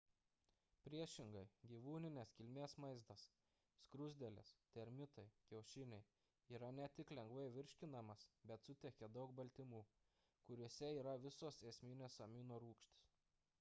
priešingai gyvūninės kilmės maistas skruzdėlės termitai kiaušiniai yra ne tik lengvai virškinamas bet suteikia daug baltymų kuriuose yra visos esminės aminorūgštys